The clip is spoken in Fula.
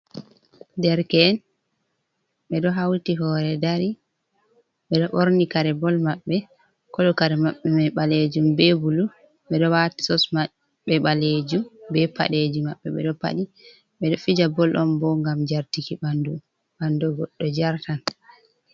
Ɗerken beɗo hauti hore ɗari. Beɗo borni kare boll mabbe kolo kare mabbe mai balejum be bulu. Beɗo wati sos mabbe balejum be padeji mabbe beɗo paɗi. Beɗo fija bol ɗon bo gam jartiki banɗu, banɗu goɗɗo jartan.